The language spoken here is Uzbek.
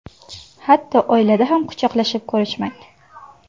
Hatto oilada ham quchoqlashib ko‘rishmang.